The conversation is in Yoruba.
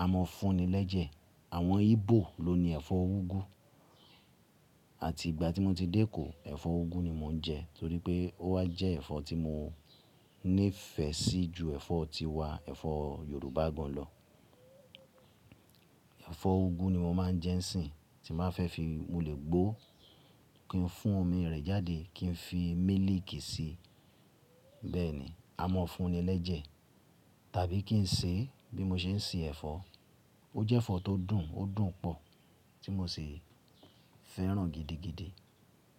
A mọ́ fún ni lẹ́jẹ̀. Àwọn Igbo ló ni ẹ̀fọ́ úgú. Àti ìgbà tí mo ti dé ẹkọ, ẹ̀fọ́ úgú ni mò ń jẹ torí pé ó wà jẹ́ ẹ̀fọ́ tí mo nífẹsí ju ẹ̀fọ́ tiwa, ẹ̀fọ́ Yorùbá gan lọ. Ẹ̀fọ́ úgú ni mo máa ń jẹ n sí tí màá fẹ́ fi mo lẹ̀ gbó kí n fún omi rẹ̀ jáde kí n fi mílíkì sí. Bẹ́ẹ̀ni, a mọ́ fún ni lẹ́jẹ̀. Tàbí kí n ṣe, bí mo ṣe ń se ẹ̀fọ́. Ó jẹ́ ẹ̀fọ́ tó dùn ó dùn pọ̀ tí mo ṣi fẹ́ràn gidigidi.